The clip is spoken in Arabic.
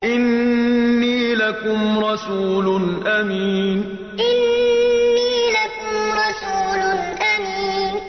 إِنِّي لَكُمْ رَسُولٌ أَمِينٌ إِنِّي لَكُمْ رَسُولٌ أَمِينٌ